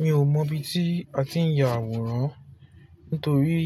Mi ò mọ ibi tí a ti ń ya àwòrán nitorí